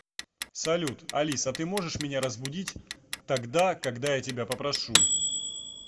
салют алис а ты можешь меня разбудить тогда когда я тебя попрошу